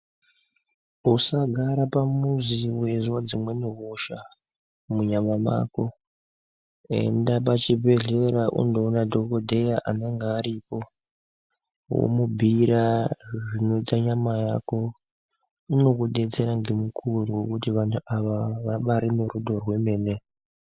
Usagara pamuzi weizwa dzimweni hosha munyama mako enda pachibhedhlera undoona dhokodheya anenga aripo womubhiira zvinoita nyama yako unokudetsera ngemukuwo ngekuti vantu ava vabari nerudo rwemene.